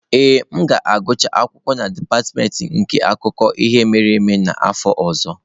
Ee, m ga-agụcha akwụkwọ na dipatịmentị nke akụkọ ihe mere eme n'afọ ọzọ.